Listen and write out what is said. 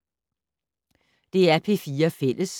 DR P4 Fælles